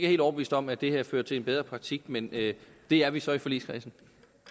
helt overbevist om at det her fører til en bedre praktik men det er vi så i forligskredsen